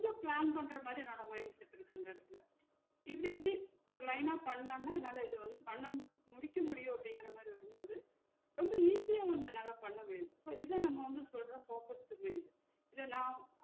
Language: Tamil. கொஞ்ச plan பண்ற மாதிரி இருக்கு என்னோட mind set இருக்கு அந்த எடத்துல இப்டி இப்டி ஒரு line ஆ பன்னோன்னா என்னால இத வந்து பண்ண முடிக்க முடியும் அப்படிங்குற மாதிரி வரும் போது ரொம்ப easy அ வந்து என்னால பன்ன முடியுது ஒரு இத வந்து நம்ம focus focus இத நா